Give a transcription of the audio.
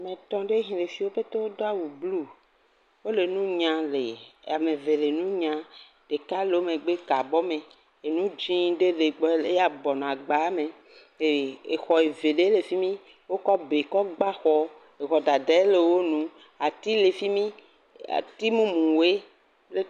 Ame etɔ ɖewo ke le fi. Wo ƒete do awu blu. Wole nunyam, ame eve le nu nyam, ɖeka le egbɔ ka abɔ me. Enu dzɛ ɖe le egbɔ ya wo bubɔnɔ agba me. Exɔ eve ɖe le fimi, wokɔ be kɔ gba xɔ. ŋu dade le nu, ati le fimi. Ati mumu woe kple…………